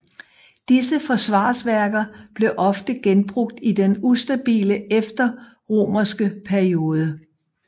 Disse forsvarsværker blev ofte genbrugt i den ustabile efterromerske periode